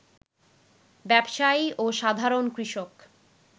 ব্যবসায়ী ও সাধারণ কৃষক